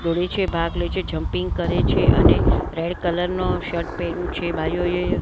દોડે છે ભાગ લે છે જમ્પિંગ કરે છે અને રેડ કલર નો શર્ટ પેયરુ છે બાઈઓએ જીન્સ --